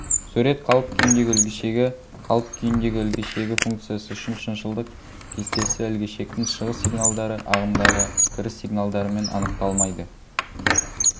сурет қалып-күйіндегі ілгішегі қалып-күйіндегі ілгішегі функциясы үшін шыншылдық кестесі ілгішектің шығыс сигналдары ағымдағы кіріс сигналдарымен анықталмайды